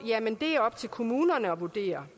er op til kommunerne at vurdere